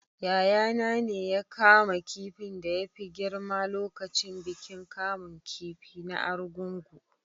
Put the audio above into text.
Yayana ne ya kama kifin da ya fi girma lokacin bikin kamun kifi na argungu